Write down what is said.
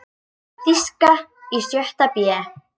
Þýska í sjötta bé.